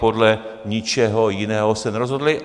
Podle ničeho jiného se nerozhodli.